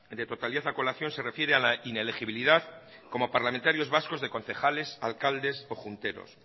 de totalidad a colación se refiere a la inelegibilidad como parlamentarios vascos de concejales alcaldes o junteros